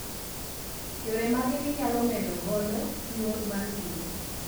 yore mage minyalo medo godo nyuol mar gwen